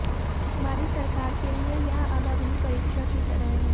हमारी सरकार के लिए यह अब अग्नि परीक्षा की तरह है